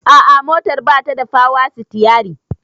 A'a motar batada power stiyari